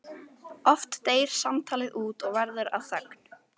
Oft deyr samtalið út og verður að þögn.